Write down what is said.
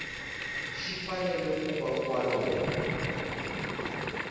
xi fanele ku va kwalomu